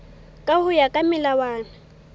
ka ho ya ka melawana